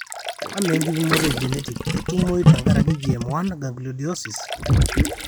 Amaa enkipimoto e genetic ketumoyu tenkaraki GM1 gangliosidosis?